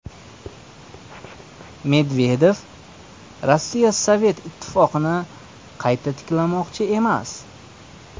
Medvedev: Rossiya Sovet Ittifoqini qayta tiklamoqchi emas.